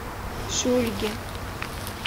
шульги